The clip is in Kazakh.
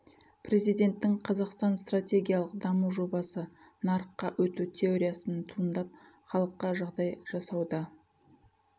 президенттің қазақстан стратегиялық даму жобасы нарыққа өту теориясын туындап халыққа жағдай жасауда